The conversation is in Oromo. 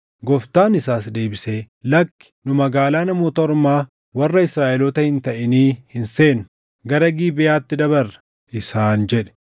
Gooftaan isaas deebisee, “Lakkii. Nu magaalaa Namoota Ormaa warra Israaʼeloota hin taʼinii hin seennu. Gara Gibeʼaatti dabarra” isaan jedhe.